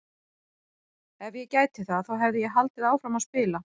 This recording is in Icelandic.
Ef ég gæti það þá hefði ég haldið áfram að spila!